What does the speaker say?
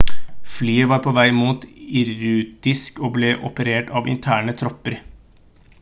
flyet var på vei mot irkutsk og ble operert av interne tropper